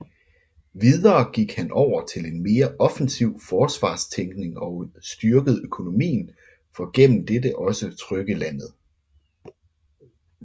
Videre gik han over til en mere offensiv forsvarstænkning og styrkede økonomien for gennem dette også trygge landet